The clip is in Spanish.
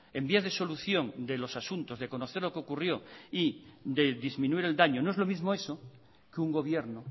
en vías de solución de los asuntos de conocer lo que ocurrió y de disminuir el daño no es lo mismo eso que un gobierno